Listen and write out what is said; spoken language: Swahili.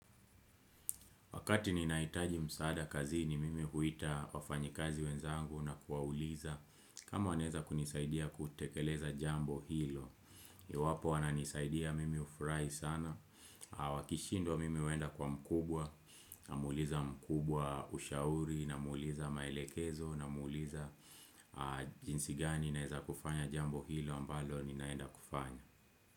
Wakati ninahitaji msaada kazini mimi huita wafanyikazi wenzangu na kuwauliza. Kama wanaeza kunisaidia kutekeleza jambo hilo, iwwapo wananisaidia mimi ufurahi sana. Wakishindwa mimi huenda kwa mkubwa, namuliza mkubwa ushauri, namuliza maelekezo, namuliza jinsi gani naeza kufanya jambo hilo ambalo ninaenda kufanya.